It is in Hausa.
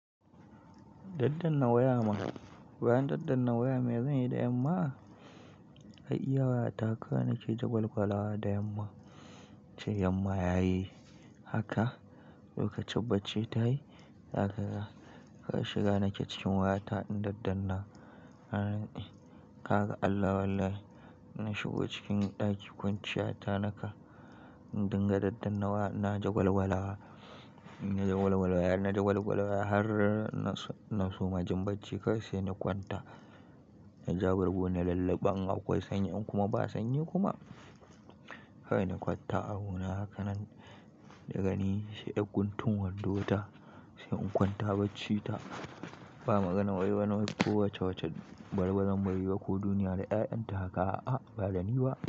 Daddanna waya ma, bayan daddanna waya me zanyi da yamma? Ai iya wayata kawai nake jagwalgwalawa da yamma. Ce yamma yayi haka, lokacin bacci ta yi zaka ga. Kawai shiga nake cikin wayata in daddanna. Na ce eh. Ka ga Allah wallahi na shigo cikin ɗaki kwanciya ta naka. In dinga daddanna wa na jagwalgwalawa. Na jagwalgwala waya, na jagwalgwala waya har na soma jin bacci. Kawai sai in kwanta. Na ja bargo na lulluba in akwai sanyi in kuma ba sanyi kuma. Kawai na kwanta abuna hakanan daga ni sai ɗan guntun wando ta, sai in kwanta bacci ta. Ba maganar wai wani wai ko wace wacce balbalan bari ba ko duniya da ƴaƴanta haka a'a ba da ni ba.